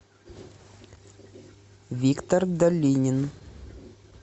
виктор долинин